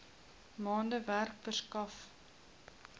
maande werk verskaf